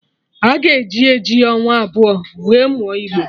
A ga-eji eji ọnwa abụọ wee mụọ igbo